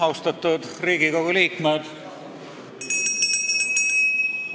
Austatud Riigikogu liikmed!